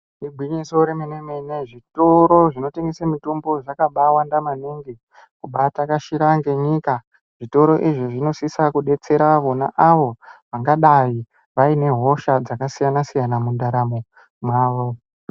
Igwinyiso remenemene zvitoro zvinotengese mitombo zvakaba wanda maningi kubatakashira ngenyika zvitoro izvi zvinosisa kudetsera vona avo vagadai vane hosha dzakasiyana siyana mundaramo mwavo.